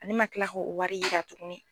Ale ma kil'a k'o wari yira tuguni